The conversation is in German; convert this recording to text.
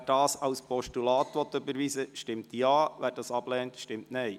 Wer diese als Postulat überweisen will, stimmt Ja, wer dies ablehnt, stimmt Nein.